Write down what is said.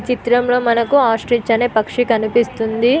ఈ చిత్రం లో మనకు ఆస్తిచ్ అనే పక్షి కనిపిస్తుంది.